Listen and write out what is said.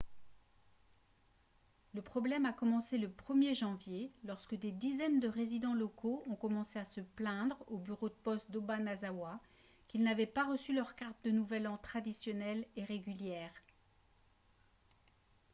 le problème a commencé le 1er janvier lorsque des dizaines de résidents locaux ont commencé à se plaindre au bureau de poste d'obanazawa qu'ils n'avaient pas reçu leurs cartes de nouvel an traditionnelles et régulières